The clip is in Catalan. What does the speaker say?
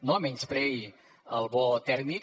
no menyspreï el bo tèrmic